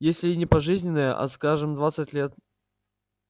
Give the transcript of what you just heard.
если и не пожизненное а скажем двадцать лет